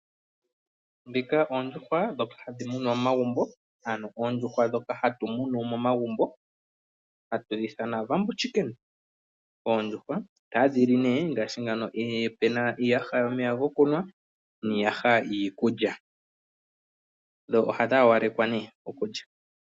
Ondjuhwa dhoka hadhi munwa momagumbo ano ondjuhwa dhoka hatu munu momagumbo hatu dhi ithana oondjuhwa dhaawambo, oondjuhwa otadhi li ngaashi puna iiyaha yoomeya gokunwa niiyaha yiikulya dho ohadhi haalekwa ne okulya.